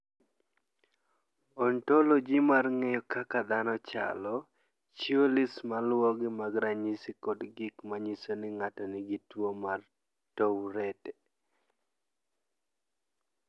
"Ontoloji mar ng’eyo kaka dhano chalo, chiwo list ma luwogi mag ranyisi kod gik ma nyiso ni ng’ato nigi tuwo mar Tourette."